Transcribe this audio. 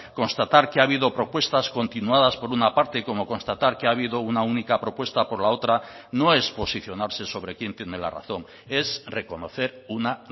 constatar que ha habido propuestas continuadas por una parte como constatar que ha habido una única propuesta por la otra no es posicionarse sobre quién tiene la razón es reconocer una